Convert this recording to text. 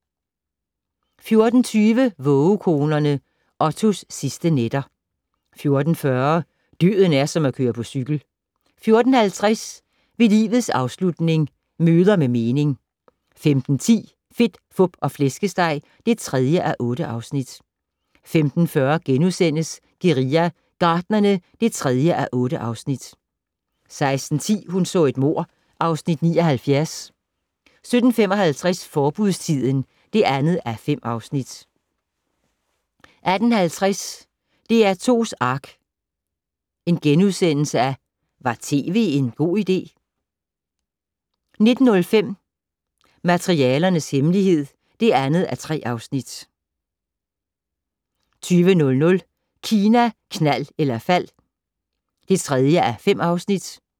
14:20: Vågekonerne - Ottos sidste nætter 14:40: Døden er som at køre på cykel 14:50: Ved livets afslutning - møder med mening 15:10: Fedt, Fup og Flæskesteg (3:8) 15:40: Guerilla Gartnerne (3:8)* 16:10: Hun så et mord (Afs. 79) 17:55: Forbudstiden (2:5) 18:50: DR2's Ark - Var tv en god idé? * 19:05: Materialernes hemmelighed (2:3) 20:00: Kina, knald eller fald (3:5)